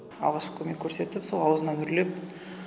алғашқы көмек көрсеттік сол ауызына үрлеп